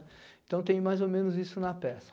Então, tem mais ou menos isso na peça.